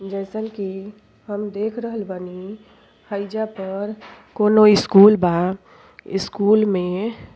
जइसन कि हम देख रहल बानी हइजा पर कोनो स्कूल बा। स्कूल में --